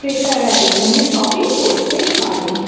ক্রেতারা এখানে শপিং করতে পারে।